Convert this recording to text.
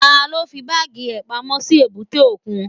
Taló fí báàgì rẹ̀ pamọ́ sí èbúté òkun?